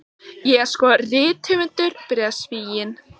Ég er sko rithöfundur, byrjaði Svíinn.